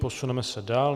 Posuneme se dál.